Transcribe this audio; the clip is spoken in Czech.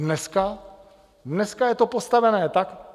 Dneska je to postavené tak...